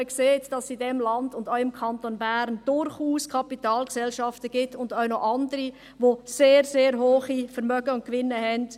Darin sieht man, dass es in diesem Land, und auch im Kanton Bern, durchaus Kapitalgesellschaften gibt, und auch andere, welche sehr, sehr hohe Vermögen und Gewinne haben.